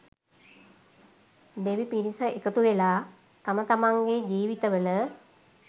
දෙවි පිරිස එකතුවෙලා තම තමන්ගේ ජීවිතවල